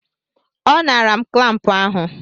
Ọ naara m klampụ ahụ.